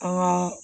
An ka